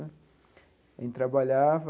A gente trabalhava,